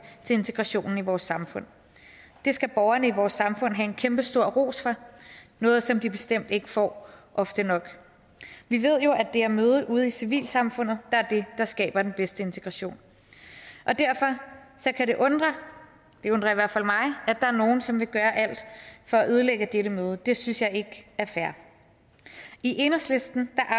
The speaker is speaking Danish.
til integrationen i vores samfund det skal borgerne i vores samfund have en kæmpe stor ros for noget som de bestemt ikke får ofte nok vi ved jo at det er mødet ude i civilsamfundet der er det der skaber den bedste integration derfor kan det undre det undrer i hvert fald mig at der er nogle som vil gøre alt for at ødelægge dette møde det synes jeg ikke er fair i enhedslisten